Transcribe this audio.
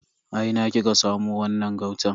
A ina kika samo wannan gautan?